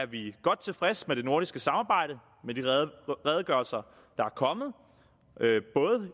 vi godt tilfreds med det nordiske samarbejde med de redegørelser der er kommet både